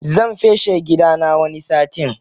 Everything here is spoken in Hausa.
Zan feshe gidana wani satin.